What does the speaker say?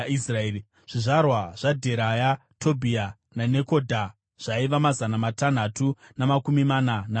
zvizvarwa zvaDheraya, zvaTobhia nezvaNekodha zvaiva mazana matanhatu namakumi mana navaviri.